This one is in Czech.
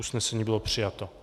Usnesení bylo přijato.